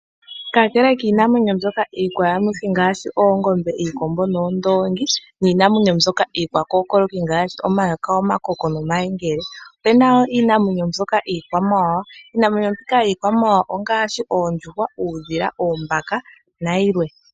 Kakele kiinamwenyo mbyoka iikwayamuthi ngaashi Oongombe, noondongi niinamwenyo mbyoka iikwakokoloki ngaashi Omayoka, Omakoko nomayengele opena iinamwenyo mbyoka iikwawawa, iinamwenyo mbika yikwawawa ongaashi Oondjuhwa, Uudhila, Oombaka na yilwe.